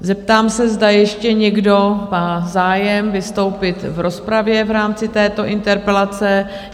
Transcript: Zeptám se, zda ještě někdo má zájem vystoupit v rozpravě v rámci této interpelace?